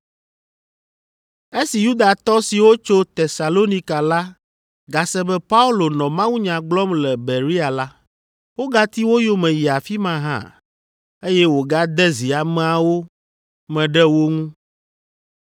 Esi Yudatɔ siwo tso Tesalonika la gase be Paulo nɔ mawunya gblɔm le Berea la, wogati wo yome yi afi ma hã, eye wògade zi ameawo me ɖe wo ŋu.